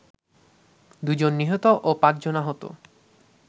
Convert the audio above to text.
দুজন নিহত ও পাঁচজন আহত